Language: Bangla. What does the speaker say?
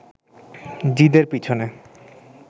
জিদের পিছনে